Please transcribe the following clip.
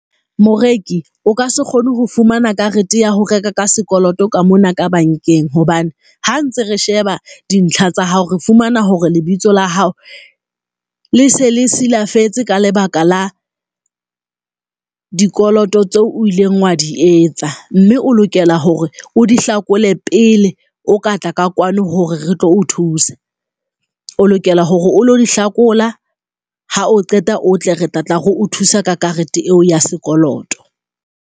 Moreki o ka se kgone ho fumana karete ya ho reka ka sekoloto ka mona ka bankeng. Hobane ha ntse re sheba dintlha tsa hao, re fumana hore lebitso la hao le se le silafetse ka lebaka la dikoloto tseo o ileng wa di etsa, mme o lokela hore o di hlakole pele o ka tla ka kwano hore re tlo o thusa. O lokela hore o lo di hlakola ha o qeta o tle re tla tla re o thusa ka karete eo ya sekoloto.